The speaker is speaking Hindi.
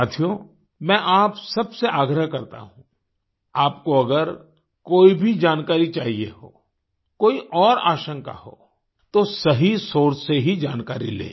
साथियो मैं आप सबसे आग्रह करता हूँ आपको अगर कोई भी जानकारी चाहिए हो कोई और आशंका हो तो सही सोर्स से ही जानकारी लें